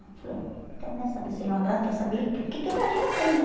Eu falei, eu não quero nem saber se ele é uma graça, eu quero saber o que que a minha filha tem, né?